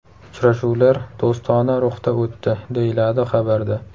Uchrashuvlar do‘stona ruhda o‘tdi, deyiladi xabarda.